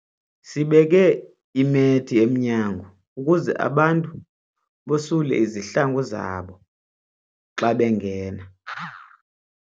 Sibeke imethi emnyango ukuze abantu basule izihlangu zabo xa bengena.